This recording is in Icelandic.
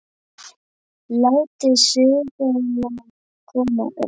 Látið suðuna koma upp.